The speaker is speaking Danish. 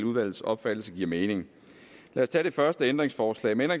udvalgets opfattelse giver mening lad os tage det første ændringsforslag med